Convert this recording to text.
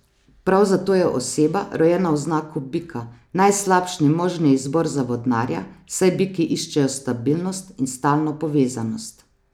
Prav zato je oseba, rojena v znaku bika, najslabši možni izbor za vodnarja, saj biki iščejo stabilnost in stalno povezanost.